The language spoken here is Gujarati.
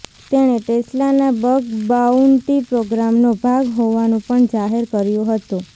તેણે ટેસ્લાના બગ બાઉન્ટિ પ્રોગ્રામનો ભાગ હોવાનું પણ જાહેર કર્યું હતું